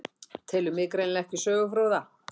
Telur mig greinilega ekki sögufróða.